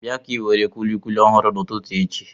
Bịa ka inwere kùlikùli ọhụrụ n'ụtụtụ echi